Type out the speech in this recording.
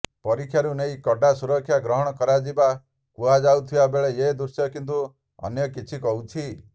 ପରୀକ୍ଷାକୁ ନେଇ କଡା ସୁରକ୍ଷା ଗ୍ରହଣ କରାଯାଇଥିବା କହୁଯାଉଥିବା ବେଳେ ଏ ଦୃଶ୍ୟ କିନ୍ତୁ ଅନ୍ୟ କିଛି କହୁଛି